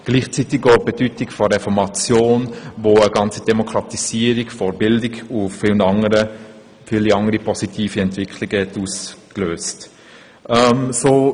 Dazu gehört auch die Reformation, die eine Demokratisierung der Bildung sowie weitere positive Entwicklungen ausgelöst hat.